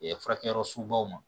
furakɛliyɔrɔ sugu baw ma